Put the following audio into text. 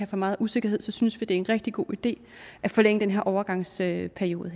for meget usikkerhed synes vi det er en rigtig god idé at forlænge den her overgangsperiode